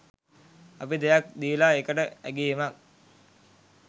අපි දෙයක් දීලා ඒකට ඇගැයීමක්